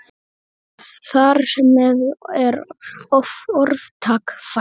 Þar með er orðtak fætt.